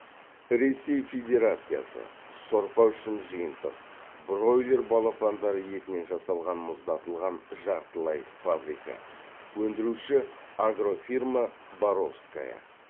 ресей федерациясы сорпа үшін жиынтық бройлер балапандары етінен жасалған мұздатылған жартылай фабрикат өндіруші агрофирма боровская